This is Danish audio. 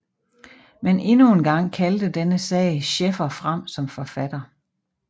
Men endnu en gang kaldte denne sag Schäffer frem som forfatter